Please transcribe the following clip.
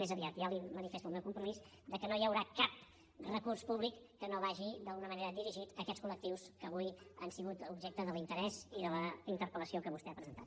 més aviat ja li manifesto el meu compromís que no hi haurà cap recurs públic que no vagi d’alguna manera dirigit a aquests col·lectius que avui han sigut objecte de l’interès i de la interpelvostè ha presentat